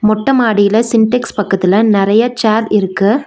மொட்ட மாடில சின்டெக்ஸ் பக்கத்துல நெறைய சேர் இருக்கு.